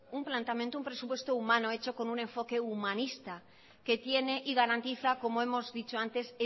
un planteamiento un presupuesto humano hecho con un enfoque humanista que tiene y garantiza como hemos dicho antes